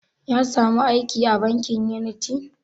Ya samu aiki a bankin uniti?